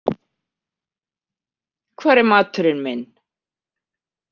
Hvar er maturinn minn?